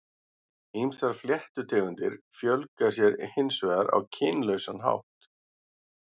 Ýmsar fléttutegundir fjölga sér hins vegar á kynlausan hátt.